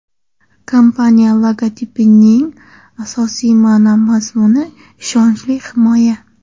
Kompaniya logotipining asosiy ma’no-mazmuni – ishonchli himoya!